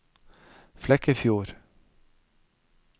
Flekkefjord